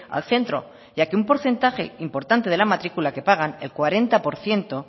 al centro ya que un porcentaje importante de la matrícula que pagan el cuarenta por ciento